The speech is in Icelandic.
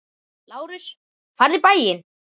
LÁRUS: Farðu um bæinn!